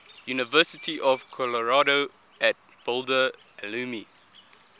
university of colorado at boulder alumni